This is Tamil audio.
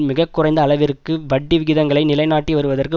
மிக குறைந்த அளவிற்கு வட்டிவிகிதங்களை நிலைநாட்டி வருவதற்கு